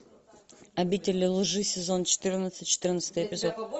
обитель лжи сезон четырнадцать четырнадцатый эпизод